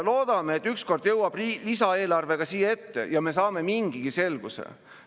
Loodame, et ükskord jõuab lisaeelarve ka siia ette ja me saame mingigi selguse.